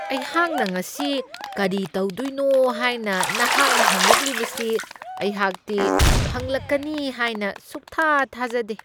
ꯑꯩꯍꯥꯛꯅ ꯉꯁꯤ ꯀꯔꯤ ꯇꯧꯗꯣꯏꯅꯣ ꯍꯥꯏꯅ ꯅꯍꯥꯛꯅ ꯍꯪꯂꯛꯂꯤꯕꯁꯤ ꯑꯩꯍꯥꯛꯇꯤ ꯍꯪꯂꯛꯀꯅꯤ ꯍꯥꯏꯅ ꯁꯨꯛꯊꯥ ꯊꯥꯖꯗꯦ ꯫